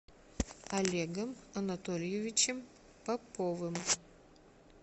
олегом анатольевичем поповым